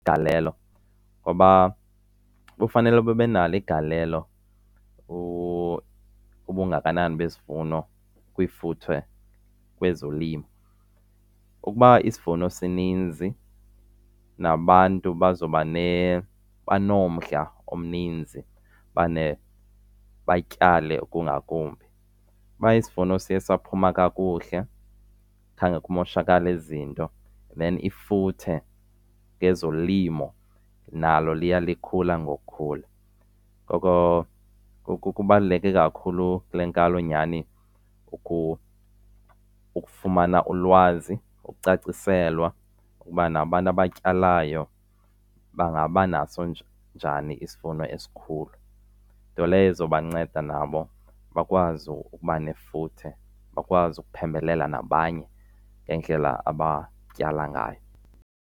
Igalelo ngoba kufanele babe nalo igalelo ubungakanani besivuno kwifuthe kwezolimo. Ukuba isivuno sininzi nabantu bazoba banomdla omninzi ubana batyale ngokungakumbi. Uba isivuno siye saphuma kakuhle khange kumoshakale zinto then ifuthe ngezolimo nalo liya likhula ngokukhula. Ngoko, ngoko kubaluleke kakhulu kule nkalo nyhani ukufumana ulwazi, ukucaciselwa ukuba nabantu abatyalayo bangaba naso njani isivuno esikhulu. Nto leyo ezobanceda nabo bakwazi ukuba nefuthe, bakwazi ukuphembelela nabanye ngendlela abatyala ngayo.